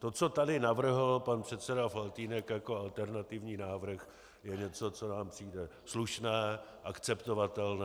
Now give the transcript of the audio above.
To, co tady navrhl pan předseda Faltýnek jako alternativní návrh, je něco, co nám přijde slušné, akceptovatelné.